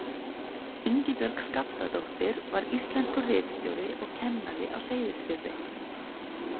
Ingibjörg Skaptadóttir var íslenskur ritstjóri og kennari á Seyðisfirði.